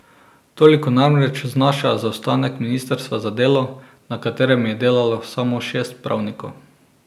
Toliko namreč znaša zaostanek ministrstva za delo, na katerem je delalo samo šest pravnikov.